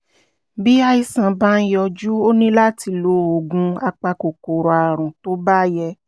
bí àìsàn bá ń yọjú o ní láti lo oògùn apakòkòrò àrùn tó bá yẹ